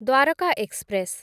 Dwarka express